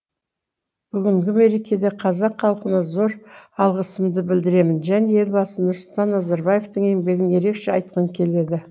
бүгінгі мерекеде қазақ халқына зор алғысымды білдіремін және елбасы нұрсұлтан назарбаевтың еңбегін ерекше айтқым келеді